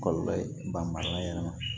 Kɔlɔlɔ ye barika yɛrɛ ma